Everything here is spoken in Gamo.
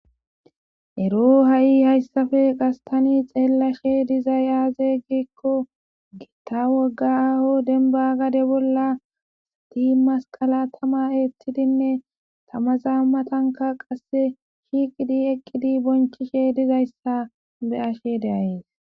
Ero ha'i hayssafe qastani xeellashe dizay aazeyggikko gita wogaaho denba gade bolla sati masqala tama eettidinne tamazaa matanka qasse shiqidi eqqidi bonchishe dizayssa be ashe deayees.